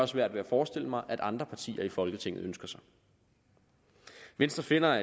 svært ved at forestille mig at andre partier i folketinget ønsker sig venstre finder at